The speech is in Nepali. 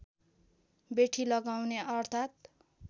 बेठी लगाउने अर्थात्